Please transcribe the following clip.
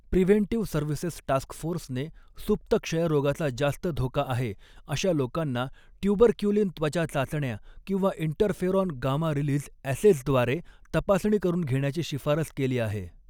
Preventive services task फोर्सने सुप्त क्षयरोगाचा जास्त धोका आहे अशा लोकांना ट्यूबरक्युलिन त्वचा चाचण्या किंवा इंटरफेरॉन गामा रिलीझ ऍसेजद्वारे तपासणी करून घेण्याची शिफारस केली आहे.